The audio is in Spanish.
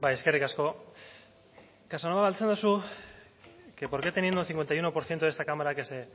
eskerrik asko casanova galdetzen duzu que por qué teniendo un cincuenta y uno por ciento de esta cámara que se